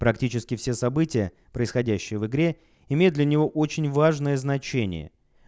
практически все события происходящие в игре имеют для него очень важное значение